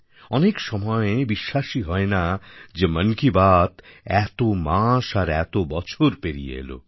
অনেক সময় বিশ্বাসই হয় না যে মন কি বাত এত মাস আর এত বছর পেরিয়ে এল